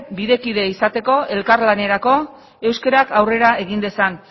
bide kide izateko elkarlanerako euskarak aurrera egin dezan